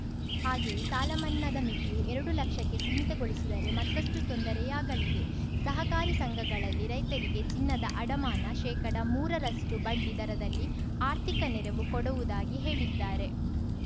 ಹಾಗೆಯೇ ಸಾಲ ಮನ್ನಾದ ಮಿತಿಯೂ ಎರಡು ಲಕ್ಷಕ್ಕೆ ಸಿಮೀತಗೊಳಿಸಿದರೆ ಮತ್ತಷ್ಟುತೊಂದರೆಯಾಗಲಿದೆ ಸಹಕಾರಿ ಸಂಘಗಳಲ್ಲಿ ರೈತರಿಗೆ ಚಿನ್ನ ಅಡಮಾನ ಶೇಕಡಮೂರ ರಷ್ಟುಬಡ್ಡಿ ದರದಲ್ಲಿ ಆರ್ಥಿಕ ನೆರವು ಕೊಡುವುದಾಗಿ ಹೇಳಿದ್ದಾರೆ